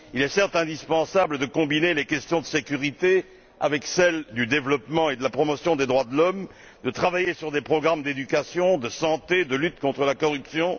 Il est certes indispensable de combiner les questions de sécurité avec celles du développement et de la promotion des droits de l'homme, de travailler sur des programmes d'éducation, de santé, de lutte contre la corruption.